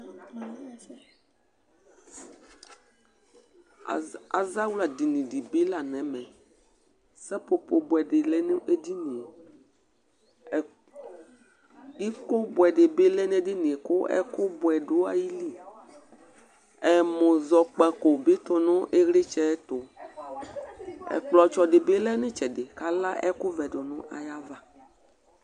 Azawla dinì di bi la n'ɛmɛ, sapopo buɛ di bi lɛ nu ediníe, iko buɛ di bi lɛ n'ediníe k'ɛku buɛ dù ayili, ɛmuzɔkpako tu nu iɣlitsɛ ɛtu, ɛkplɔtsɔ di bi lɛ nu itsɛdi k'ala ɛku vɛ du nu ayi ava